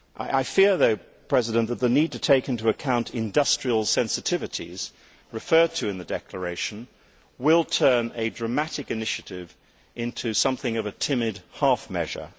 I fear though that the need to take into account industrial sensitivities, referred to in the declaration, will turn a dramatic initiative into something of a timid half measure.